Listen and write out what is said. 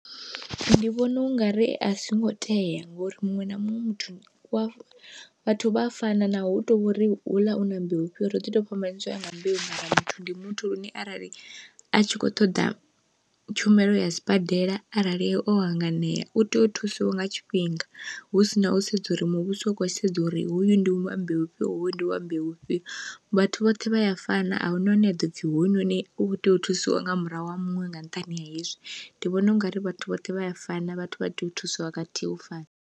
Ndi vhona ungari a zwingo tea ngori muṅwe na muṅwe muthu wa vhathu vha fana naho hu tovhori houḽa una mbeu fhio ro ḓi to fhambanyisa u ya nga mbeu muthu ndi muthu, lune arali a tshi kho ṱoḓa tshumelo ya sibadela arali o hanganea u tea u thusiwa nga tshifhinga hu sina u sedza uri muvhuso u khou sedza uri hoyu ndi muembe vhufhio hoyu ndi wa mbeu vhufhio, vhathu vhoṱhe vha ya fana ahuna hune aḓo dzi hoyunoni u kho tea u thusiwa nga murahu ha muṅwe nga nṱhani ha hezwi. Ndi vhona ungari vhathu vhoṱhe vha a fana vhathu vha tea u thusiwa khathihi u fana.